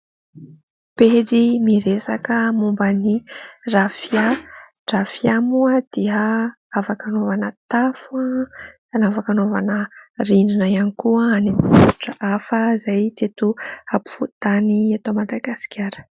Pejy miresaka momba ny rafia. Ny rafia moa afaka hanaovana tafo, afaka anaovana rindrina ihany koa any amin'ny faritra hafa izay tsy eto ampovoantany eto Madagasikara.